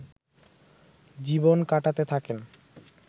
জীবন কাটাতে থাকেন